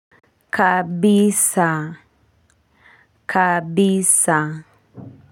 Kabisa kabisa.